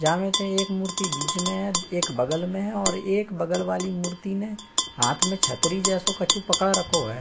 जा मे ते एक मूर्ति बीच में है। एक बगल में है और एक बगल वाली मूर्ति ने हाथ में छतरी जैसे कछु पकड़ रखो है।